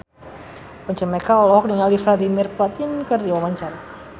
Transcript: Once Mekel olohok ningali Vladimir Putin keur diwawancara